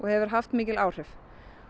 hefur haft mikil áhrif